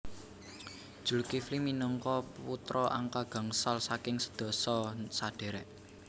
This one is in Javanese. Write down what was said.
Zulkifli minangka putra angka gangsal saking sedasa sadhérék